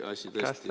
... käest ära, jah?